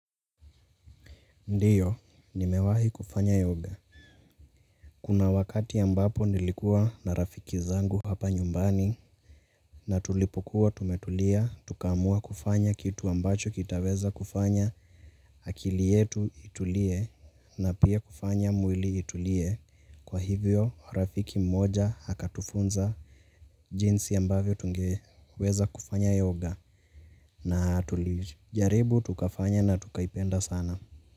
Ndiyo, nimewahi kufanya yoga. Kuna wakati ya ambapo nilikuwa na rafiki zangu hapa nyumbani. Na tulipokuwa tumetulia, tukaamua kufanya kitu ambacho kitaweza kufanya. Akili yetu itulie na pia kufanya mwili itulie. Kwa hivyo, rafiki mmoja akatufunza jinsi ya mbavyo tungeweza kufanya yoga. Na tulijaribu tukafanya na tukaipenda sana.